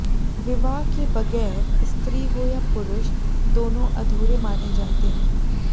विवाह के बगैर स्त्री हो या पुरूष दोनों अधूरे माने जाते है